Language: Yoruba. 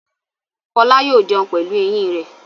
Fọlá yóò jẹun pẹ̀lú eyín rẹ̀.